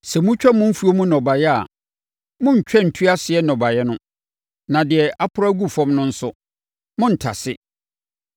“ ‘Sɛ motwa mo mfuo mu nnɔbaeɛ a, monntwa ntu aseɛ nnɔbaeɛ no, na deɛ aporo agu fam no nso, monntase.